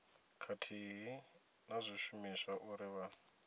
khathihi na zwishumiswa uri vha